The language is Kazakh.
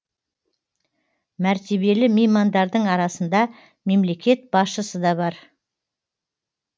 мәртебелі меймандардың арасында мемлекет басшысы да бар